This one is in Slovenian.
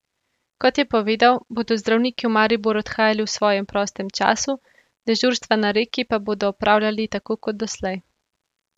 Kot je povedal, bodo zdravniki v Maribor odhajali v svojem prostem času, dežurstva na Reki pa bodo opravljali tako kot doslej.